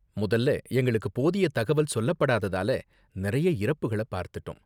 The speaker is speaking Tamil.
முதல்ல எங்களுக்கு போதிய தகவல் சொல்லப்படாததால நிறைய இறப்புகள பார்த்துட்டோம்.